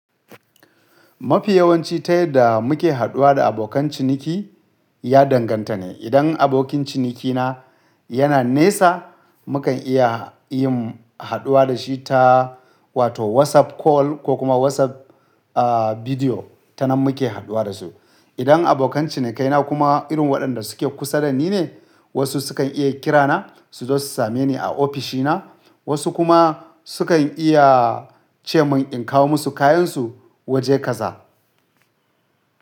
Mafi yawanci ta yadda muke haɗuwa da abokan ciniki ya danganta ne. Idan abokin cinikina yana nesa, mukan iya yin haɗuwa da shi ta wato WhatsApp Call ko kuma WhatsApp, ah, Video, ta nan muke haɗuwa da su. Idan abokan cinikaina kuma irin waɗanda suke kusa da ni ne, wasu sukan iya kirana su zo su same ni a ofishina, wasu kuma sukan iya ce mun in kawo musu kayansu waje kaza.